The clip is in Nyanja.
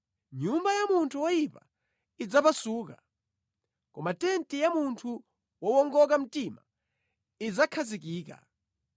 Nyumba ya munthu woyipa idzapasuka, koma tenti ya munthu wowongoka mtima idzakhazikika.